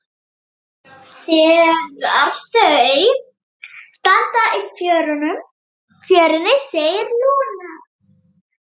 Þegar þau standa í fjörunni segir Lúna